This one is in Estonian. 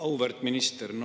Auväärt minister!